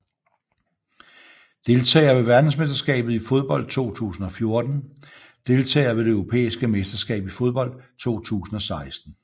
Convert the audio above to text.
Deltagere ved verdensmesterskabet i fodbold 2014 Deltagere ved det europæiske mesterskab i fodbold 2016